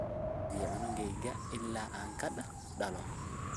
Waan raadiye cunugeyna ila aan kadaloo.